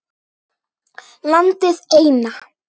Landið eina.